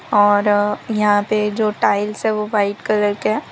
और यहां पे जो टाइल्स है वो वाइट कलर के --